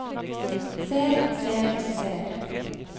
ser ser ser